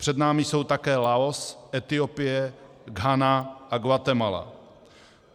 Před námi jsou také Laos, Etiopie, Ghana a Guatemala.